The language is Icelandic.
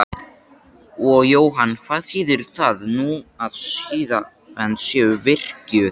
Og Jóhann hvað þýðir það nú að siðanefnd sé virkjuð?